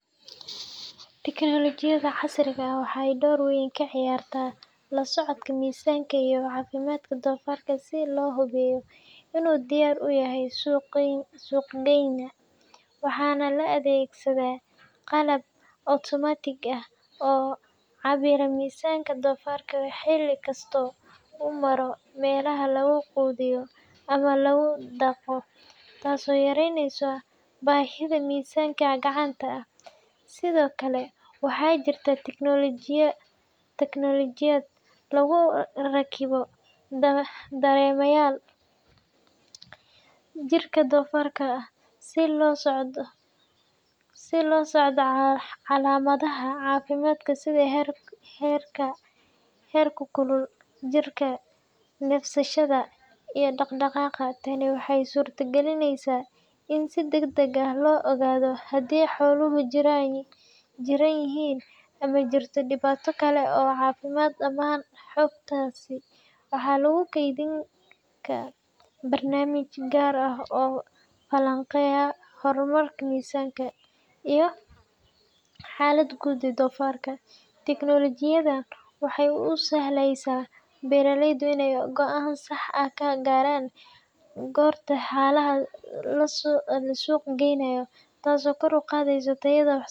Tignoolajiyada casriga ah waxay door weyn ka ciyaartaa la socodka miisaanka iyo caafimaadka doofaarka si loo hubiyo inuu diyaar u yahay suuq-geyn. Waxaa la adeegsadaa qalab otomaatig ah oo cabbira miisaanka doofaarka xilli kasta oo uu maro meelaha lagu quudiyo ama lagu dhaqo, taasoo yareyneysa baahida miisaamid gacanta ah. Sidoo kale, waxaa jirta tignoolajiyad lagu rakibo dareemayaal (sensors) jirka doofaarka ah si loo la socdo calaamadaha caafimaad sida heerka heerkulka jirka, neefsashada, iyo dhaqdhaqaaqa. Tani waxay suurtagelisaa in si degdeg ah loo ogaado haddii xooluhu jiran yihiin ama ay jirto dhibaato kale oo caafimaad. Dhammaan xogtaasi waxaa lagu kaydiyaa barnaamijyo gaar ah oo falanqeeya horumarka miisaanka iyo xaaladda guud ee doofaarka. Tignoolajiyadan waxay u sahlaysaa beeraleyda in ay go’aan sax ah ka gaaraan goorta xoolaha la suuq geynaayo, taasoo kor u qaadeyso tayada.